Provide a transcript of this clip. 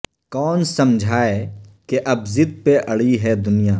کون سمجھائے کہ ا ب ضد پہ اڑی ہے دنیا